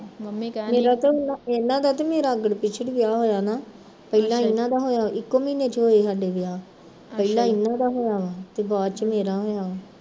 ਇਹਨਾਂ ਦਾ ਤੇ ਮੇਰਾ ਅੱਗੜ ਪਿੱਛੜ ਈ ਵਿਆਹ ਹੋਇਆ ਸੀ ਨਾ, ਪਹਿਲਾਂ ਇਹਨਾਂ ਦਾ ਹੋਇਆ ਇੱਕੋ ਮਹੀਨੇ ਚ ਹੋਏ ਸੀ ਸਾਡੇ ਵਿਆਹ, ਪਹਿਲਾਂ ਇਹਨਾਂ ਦਾ ਹੋਇਆ ਵਾ ਤੇ ਬਾਦ ਚ ਮੇਰਾ ਹੋਇਆ ਵਾ